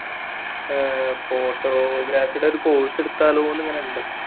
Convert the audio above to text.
photography യുടെ ഒരു course എടുത്താലോ എന്നിങ്ങനെ ഉണ്ട്